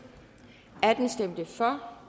for